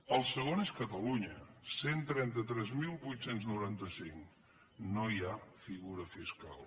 el segon és catalunya cent i trenta tres mil vuit cents i noranta cinc no hi ha figura fiscal